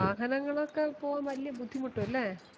വാഹനങ്ങളൊക്കെ പോവാൻ വലിയ ബുദ്ധിമുട്ടു അല്ലെ